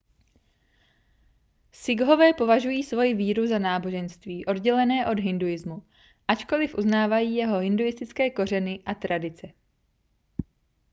sikhové považují svoji víru za náboženství oddělené od hinduismu ačkoliv uznávají jeho hinduistické kořeny a tradice